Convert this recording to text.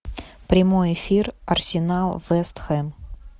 прямой эфир арсенал вест хэм